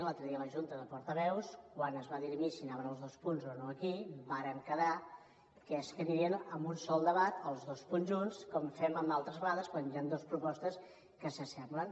l’altre dia a la junta de portaveus quan es va dirimir si anaven els dos punts o no aquí vàrem quedar que anirien en un sol debat els dos conjunts com fem altres vegades quan hi han dues propostes que s’assemblen